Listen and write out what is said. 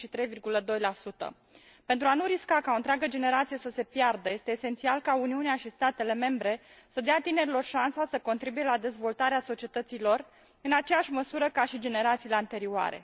23,2. Pentru a nu risca ca o întreagă generație să se piardă, este esențial ca Uniunea și statele membre să dea tinerilor șansa să contribuie la dezvoltarea societății lor, în aceeași măsură ca și generațiile anterioare.